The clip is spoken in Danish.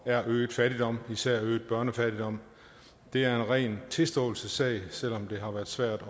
er øget fattigdom og især øget børnefattigdom det er en ren tilståelsessag selv om det har været svært